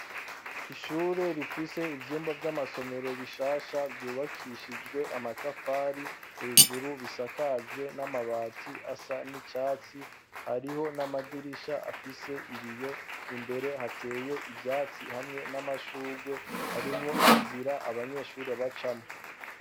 Ishure rifise ivyumba vy'amasomero bishasha byubakishijwe amatafari hejuru bisakajwe n'amabati asa n'icatsi hariho n'amadirisha afise ibiyo imbere hateye ivyatsi hamwe n'amashugwe harimwo n'inzira abanyeshuri bacamwo.